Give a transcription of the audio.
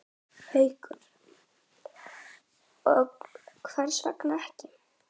Haukur: Og hvers vegna ekki?